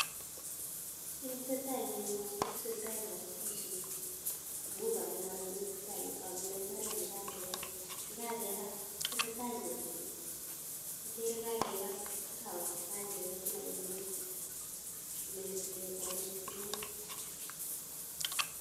Kiit ne tesetai eng yu, kotesetai kabatishet amun ngaliin aro kiit ne tesetai eng yu, ageere imbaaret nekakebat, tesetai kolset, ageere kakebat ako kakepet lainwek nemeche sikekolchi tuguk.